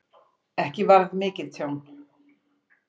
Ekki varð mikið tjón